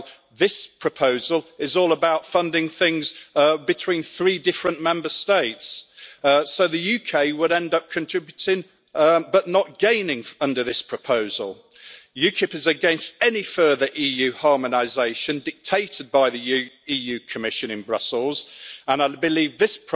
Well, this proposal is all about funding things between three different Member States, so the UK would end up contributing but not gaining under the proposal. UKIP is against any further EU harmonisation dictated by the Commission in Brussels, and I believe that this